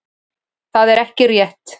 Það væri ekki rétt.